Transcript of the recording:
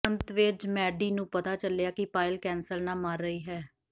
ਅੰਤ ਵਿੱਚ ਮੈਡੀ ਨੂੰ ਪਤਾ ਚਲਿਆ ਕਿ ਪਾਇਲ ਕੈਂਸਰ ਨਾਲ ਮਰ ਰਹੀ ਹੈ